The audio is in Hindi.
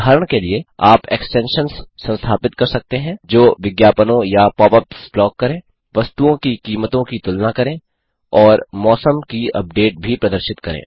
उदाहरण के लिए आप एक्सटेंशन्स संस्थापित कर सकते हैं जो विज्ञापनों या पॉपअप्स ब्लॉक करे वस्तुओं की कीमतों की तुलना करे और मौसम की अपडेट भी प्रदर्शित करे